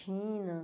China.